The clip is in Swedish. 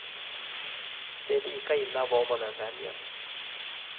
Det är lika illa vad man än väljer.